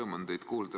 Rõõm on teid kuulda!